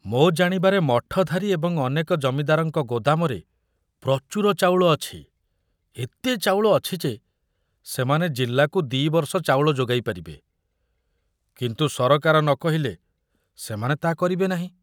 ମୋ ଜାଣିବାରେ ମଠଧାରୀ ଏବଂ ଅନେକ ଜମିଦାରଙ୍କ ଗୋଦାମରେ ପ୍ରଚୁର ଚାଉଳ ଅଛି, ଏତେ ଚାଉଳ ଅଛି ଯେ ସେମାନେ ଜିଲ୍ଲାକୁ ଦି ବର୍ଷ ଚାଉଳ ଯୋଗାଇ ପାରିବେ, କିନ୍ତୁ ସରକାର ନ କହିଲେ ସେମାନେ ତା କରିବେ ନାହିଁ।